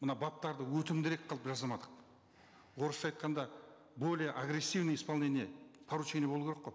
мына баптарды өтімдірек қылып жасамадық орысша айтқанда более агрессивное исполнение поручений болу керек қой